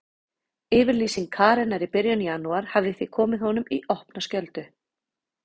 Yfirlýsing Karenar í byrjun janúar hafði því komið honum í opna skjöldu.